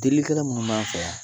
Delilikɛla minuu b'an fɛ yan